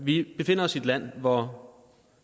vi befinder os i et land hvor